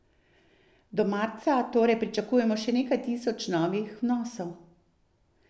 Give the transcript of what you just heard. Do marca torej pričakujemo še nekaj tisoč novih vnosov.